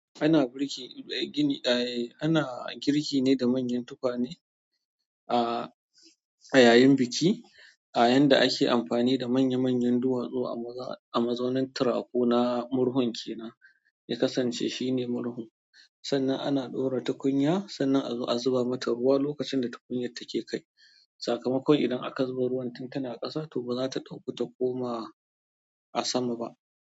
Ana girki ne da manyan tukwane a yayin biki, a yanda ake amfani da manya manyan duwatsu a mazaunan turaku na murhun kenan. Ya kasance shine murhu, sannan ana ɗora tukunya sannan a zo a zuba mata ruwa lokacin da tukunyar take kai. Sakamakon idan aka zuba ruwan tun tana ƙasa, to ba za ta ɗauku ta koma a sama ba.